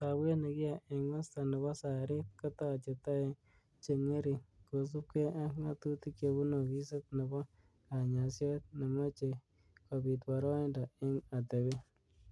Sabwet nikiae eng masta nebo Sarit kotache toek chen'gering kosubkei ak nga'tutik chebunu ofisit nebo kanyasiet nemechei kobit boraindo eng atebet.